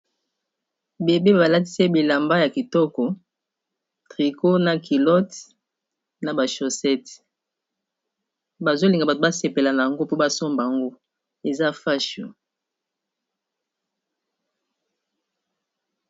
Bébé balatise bilamba ya kitoko trico na kilote na bashosete bazolinga bato basepela na yango mpo basomba yango eza facho.